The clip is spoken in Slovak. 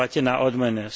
platená odmena.